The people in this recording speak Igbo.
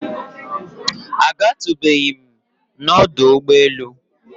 A gatụbeghịm nọdụ ụgbọ elu.